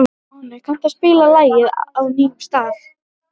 Máni, kanntu að spila lagið „Á nýjum stað“?